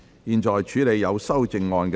現在處理有修正案的條文。